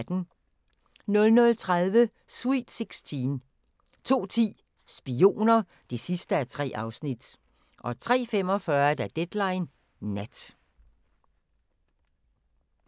00:30: Sweet Sixteen 02:10: Spioner (3:3) 03:45: Deadline Nat